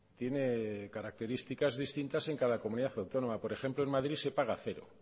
tiene características distintas en cada comunidad autónoma por ejemplo en madrid se paga cero